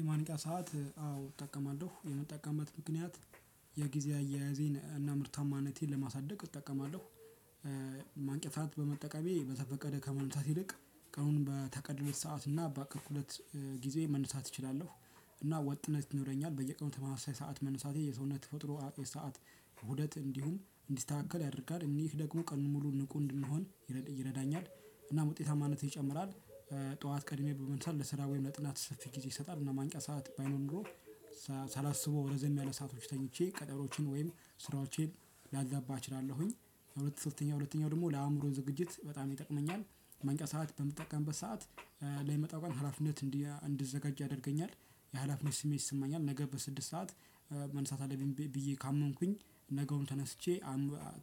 የማንቂያ ሰዓት አዎ እጠቀማለሁ የምጠቀምበት ምክንያት የጊዜ አያያዜን እና ምርታማነቴን ለማሳደግ እጠቀማለሁ። የማንቂያ ሰዓት በመጠቀሜ በዘፈቀደ ከመነሳት ይልቅ ቀኑን በቀን ሁለት ጊዜ መነሳት እችላለሁ። እና ወጥነት ይኖረኛል በየቀኑ ተመሳሳይ ሰዓት መነሳቴ የሰውነት ተፈጥሮ ሰዓት ኡደት እንዲሁም እንዲስተካከል ያደርጋል እኔህ ደግሞ ቀኑን ሙሉ ንቁ እንድንሆን ይረዳኛል እናም ውጤታማነቴ ይጨምራል። ጠዋት ቀድሜ በመነሳት ለስራ ወይም ለጥናት ሰፊ ጊዜ ይሰጣል እና ማንቂያ ሰዓት ባይኖር ኖሮ ሳላስበው ረዘም ያለ ሰአቶች ተኝቼ ቀጠሮዎቼን ወይም ስራዎቼን ላዛባ እችላለሁኝ። ሁለተኛ ሁለተኛ ደግሞ ለአእምሮው ዝግጅት በጣም ይጠቅመኛል። ማንቂያ ሰዓት በምጠቀምበት ሰዓት ለሚመጣው ቀን ሀላፊነት እንዲዘጋጅ ያደርገኛል። የሀላፊነት ስሜት ይሰማኛል ነገ በስድስት ሰዓት መነሳት አለብኝ ብዬ ካመንኩኝ ነገውን ተነስቼ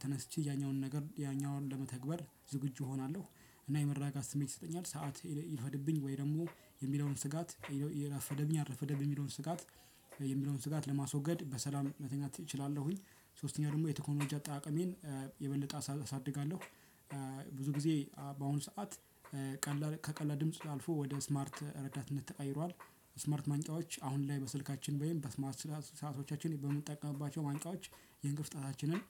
ተነስቼ ያኛውን ነገር ያኛውን ለመተግበር ዝግጁ እሆናለሁ። እና የመረጋጋት ስሜት ይሰጠኛል ሰዓት ይርፈድብኝ ወይ ደግሞ የሚለውን ስጋት የራፈደብኝ አረፈደብ የሚለውን ስጋት። የሚለውን ስጋት ለማስወገድ በሰላም መተኛት እችላለሁኝ። ሶስተኛው ደግሞ የቴክኖሎጂ አጠቃቀሜን የበለጠ አሳድጋለሁ። ብዙ ጊዜ በአሁኑ ሰዓት ቀላል ከቀላል ድምጽ አልፎ ወደ ስማርት ረዳትነት ተቀይሯል። ስማርት ማንቂያዎች አሁን ላይ በስልካችን ወይም በስማርት ሰዓቶቻችን በምንጠቀምባቸው ማንቂያዎች የእንቅልፍ ሰአታችንን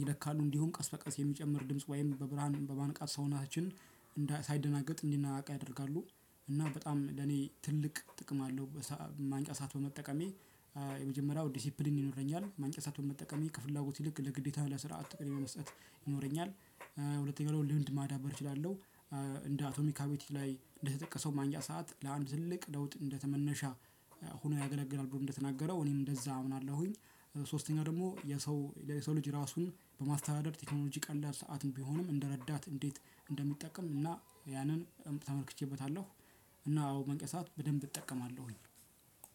ይላካሉ እንዲሁም ቀስ በቀስ የሚጨምር ድምጽ ወይም በብርሃን በማንቃት ሰውነችን ሳይደናገጥ እንዲነቃቃ ያደርጋሉ። እና በጣም ለኔ ትልቅ ጥቅም አለው። ማንቂያ ሰዓት በመጠቀሜ የመጀመሪያው ዲሲፕሊን ይኖረኛል ማንቀሳት በመጠቀሜ ከፍላጎት ይልቅ ለግዴታ ለስርዓት ቅርቢያ ይኖረኛል። ሁለተኛው ደግሞ ልምድ ማዳበር እችላለሁ። እንደ አቶሚካ አቤቲቲክ ላይ እንደተጠቀሰው ማንጃ ሰዓት ለአንድ ትልቅ ለውጥ እንደተመነሻ ሆኖ ያገለግላል ብሎ እንደተናገረው እኔም እንደዛ አምናለሁኝ። ሶስተኛው ደግሞ የሰው የሰው ልጅ ራሱን በማስተዳደር ቴክኖሎጂ ቀላል ሰዓትም ቢሆንም እንደረዳት እንዴት? እንደሚጠቀም እና ያንን በጣም ተመልክቼበታለሁ። እና አዎ ማንቂያ ሰዓት በደንብ እጠቀማለሁኝ።